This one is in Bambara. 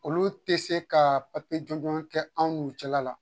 Olu te se kaa juguman kɛ anw n'u cɛla la.